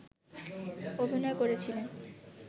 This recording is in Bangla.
অভিনয় করেছিলেন